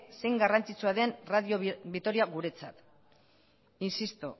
zein garrantzitsua den radio vitoria guretzat insisto